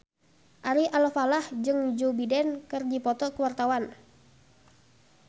Ari Alfalah jeung Joe Biden keur dipoto ku wartawan